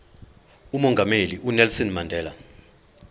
umongameli unelson mandela